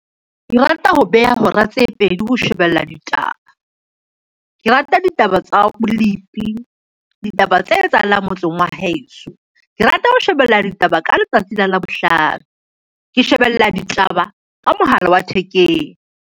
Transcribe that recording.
Ke rata ho beha hora tse pedi ho shebella ditaba. Ke rata ditaba tsa bolipi, ditaba tse etsahalang motseng wa heso. Ke rata ho shebella ditaba ka letsatsi la Labohlano. Ke shebella ditaba ka mohala wa thekeng.